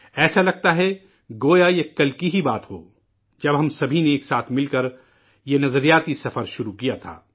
ایسا لگتا ہے، جیسے یہ کل کی ہی بات ہو، جب ہم سبھی نے ایک ساتھ مل کر یہ فکری سفر کا آغاز کیا تھا